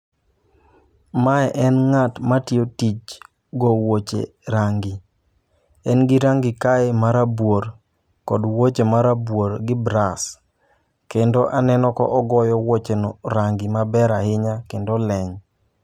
Mae en ng'at ma tiyo tij go wuoche rangi, en gi rangi kae marabuor kod wuoche marabuor gi bras. Kendo aneno ka ogoyo wuoche no rangi maber ahinya kendo leny.